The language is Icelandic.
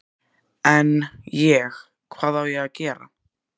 En, ég, hvað á ég að gera?